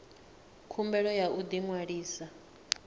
khumbelo ya u ḓi ṅwalisa